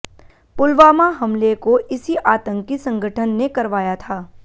पुलवामा हमले को इसी आतंकी संगठन ने करवाया था